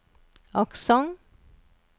aksent